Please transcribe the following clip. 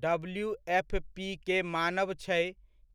WFP के मानब छै